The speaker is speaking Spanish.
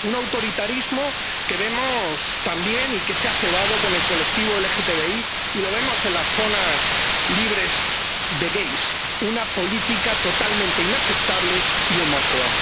Un autoritarismo que vemos también, y que se ha cebado, con el colectivo LGTBI, y lo vemos en las zonas libres de gais, una política totalmente inaceptable y homófoba.